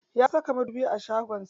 Ya saka madubi a shagon sa.